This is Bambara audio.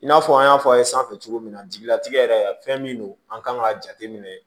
I n'a fɔ an y'a fɔ a ye sanfɛ cogo min na jigilatigɛ yɛrɛ fɛn min don an kan k'a jateminɛ